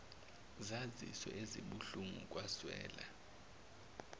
zazizwe ezibuhlungu kwazwela